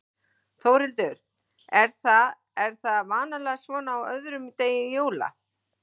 Þórhildur: Er það, er það vanalega svona á öðrum degi jóla?